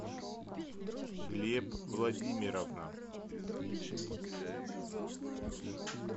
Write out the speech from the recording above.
глеб владимировна